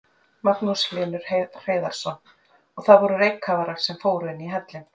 Magnús Hlynur Hreiðarsson: Og það voru reykkafarar sem fóru inn í hellinn?